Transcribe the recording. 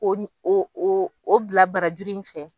Ko ni o o o bila barajuru in fɛ.